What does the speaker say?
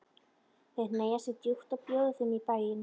Þeir hneigja sig djúpt og bjóða þeim í bæinn.